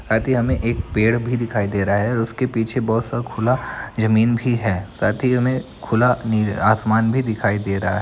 शायद ये हमे एक पेड़ दिखाई दे रहा है उसके पीछे बहुत सा खुला जमीन भी है शायद ये हमें खुला नि आसमान भी दिखाई दे रहा है।